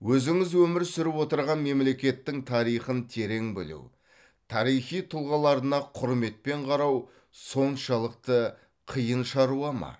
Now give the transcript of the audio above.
өзіңіз өмір сүріп отырған мемлекеттің тарихын терең білу тарихи тұлғаларына құрметпен қарау соншылықты қиын шаруа ма